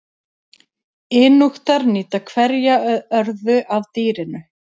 Inúkar nýta hverja örðu af dýrinu.